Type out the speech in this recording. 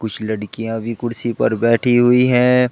कुछ लड़कियां भी कुडर्सी पर बैठी हुई है।